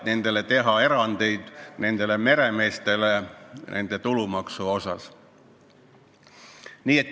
Ei maksa halada, miks me teeme meremeestele nende tulumaksu osas erandi.